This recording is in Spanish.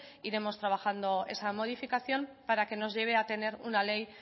iremos trabajando esa modificación para que nos lleve a tener una ley